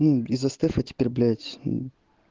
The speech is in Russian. мм из-за стефа теперь блять мм